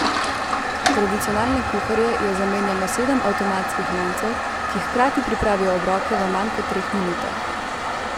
Tradicionalne kuharje je zamenjalo sedem avtomatskih loncev, ki hkrati pripravijo obroke v manj kot treh minutah.